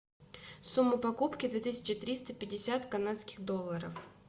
сумма покупки две тысячи триста пятьдесят канадских долларов